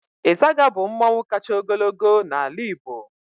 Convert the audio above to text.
Ịzaga bụ mmọnwụ kacha ogologo n'ala Igbo.